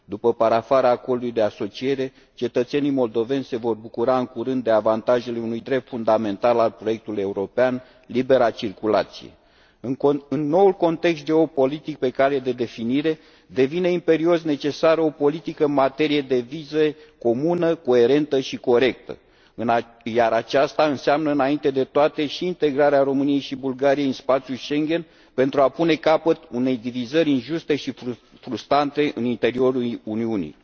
După parafarea Acordului de asociere, cetățenii moldoveni se vor bucura în curând de avantajele unui drept fundamental al proiectului european libera circulație. În noul context geopolitic pe cale de definire, devine imperios necesară o politică în materie de vize, comună, coerentă și corectă, iar aceasta înseamnă, înainte de toate, și integrarea României și Bulgariei în spațiul Schengen, pentru a pune capăt unei divizări injuste și frustrante în interiorul Uniunii.